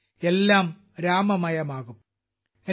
അതിൽ എല്ലാം രാമമയമാകും